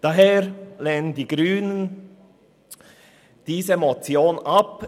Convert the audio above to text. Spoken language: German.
Daher lehnen die Grünen diese Motion ab.